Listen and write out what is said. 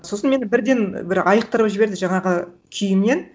сосын мені бірден бір айықтырып жіберді жаңағы күйімнен